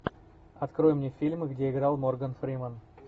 открой мне фильмы где играл морган фриман